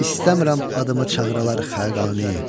İstəmirəm adımı çağıralar Xaqani.